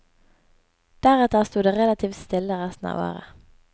Deretter sto det relativt stille resten av året.